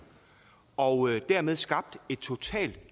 og dermed skabt et totalt